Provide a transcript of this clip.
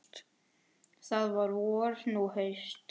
Þá var vor, nú haust.